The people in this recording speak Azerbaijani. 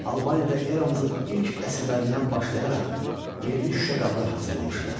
Albaniyada eramızın ilk əsrlərindən başlayaraq yerli şüşə qablar hazırlamışdılar.